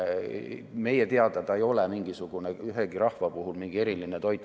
Meie teada ei ole see ühegi rahva mingi eriline toit.